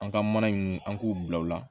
An ka mana in an k'u bila o la